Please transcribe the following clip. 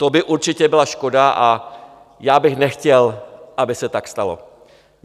To by určitě byla škoda a já bych nechtěl, aby se tak stalo.